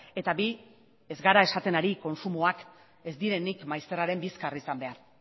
eta bi ez gara esaten ari kontsumoak ez direnik maizterraren bizkar izan behar